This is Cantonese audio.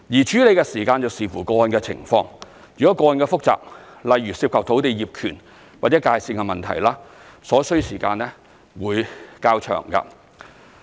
處理時間視乎個案的情況，如個案複雜，例如涉及土地業權或界線問題，所需時間會較長。